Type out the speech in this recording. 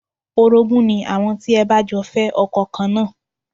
Orogún ni àwọn tí ẹ bá jọ fẹ́ ọkọ kan náà